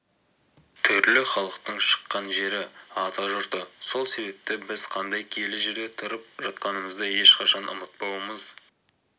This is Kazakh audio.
түрлі халықтың шыққан жері атажұрты сол себепті біз қандай киелі жерде тұрып жатқанымызды ешқашан ұмытпауымыз